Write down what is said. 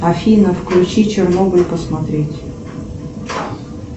афина включи чернобыль посмотреть